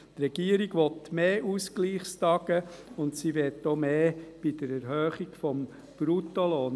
Die Regierung will mehr Ausgleichstage, und sie will auch mehr bei der Erhöhung des Bruttolohns.